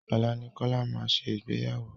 Ọ̀la ni Kola máa ṣe Ìgbéyàwó.